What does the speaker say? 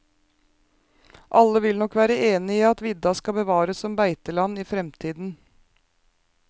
Alle vil nok være enig i at vidda skal bevares som beiteland i fremtiden.